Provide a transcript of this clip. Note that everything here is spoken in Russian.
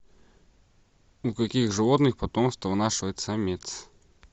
у каких животных потомство вынашивает самец